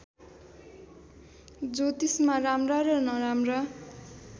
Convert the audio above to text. ज्योतिषमा राम्रा र नराम्रा